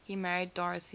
he married dorothy